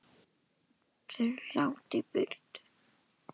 Þeir eru langt í burtu.